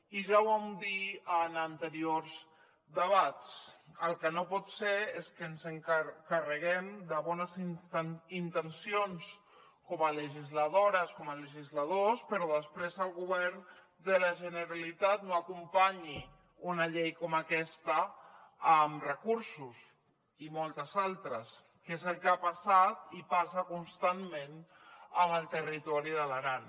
i ja ho vam dir en anteriors debats el que no pot ser és que ens carreguem de bones intencions com a legisladores com a legisladors però després el govern de la generalitat no acompanyi una llei com aquesta amb recursos i moltes altres que és el que ha passat i passa constantment amb el territori de l’aran